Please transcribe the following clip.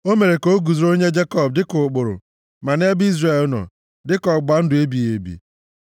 O mere ka o guzoro nye Jekọb dịka ụkpụrụ, ma nʼebe Izrel nọ, dịka ọgbụgba ndụ ebighị ebi: